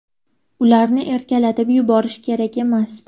Ularni erkalatib yuborish kerak emas.